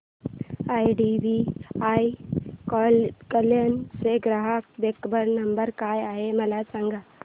IDBI Kalyan चा ग्राहक देखभाल नंबर काय आहे मला सांगा